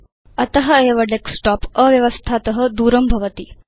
अत एव एतत् भवत डेस्कटॉप अव्यवस्थात दूरं स्थापयति